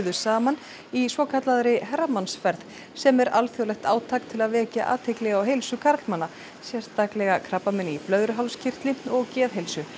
saman í svokallaðri sem er alþjóðlegt átak til að vekja athygli á heilsu karlmanna sérstaklega krabbameini í blöðruhálskirtli og geðheilsu